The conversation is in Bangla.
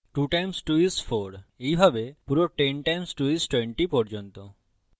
2 times 2 is 4 এইভাবে পুরো 10 times 2 is 20 পর্যন্ত